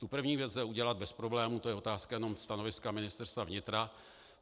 Tu první věc lze udělat bez problému, to je otázka jenom stanoviska Ministerstva vnitra.